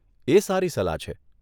એ સારી સલાહ છે.